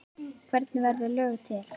Hvernig verða lög til?